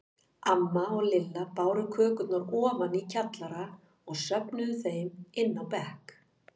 Amma og Lilla báru kökurnar ofan í kjallara og stöfluðu þeim inn á bekk.